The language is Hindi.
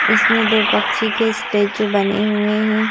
इसमे दो पक्षी के स्टैचू बने हुए हैं।